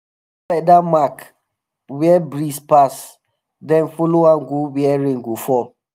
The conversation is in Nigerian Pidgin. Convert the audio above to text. feather mark where breeze pass um then um follow am go where rain go fall.